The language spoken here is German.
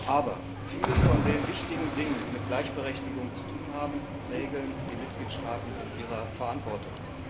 Aber vieles von den wichtigen Dingen, die mit Gleichberechtigung zu tun haben, regeln die Mitgliedstaaten in ihrer Verantwortung.